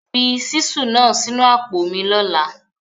Fi ṣísù náà sínu àpò mi lọ́la.!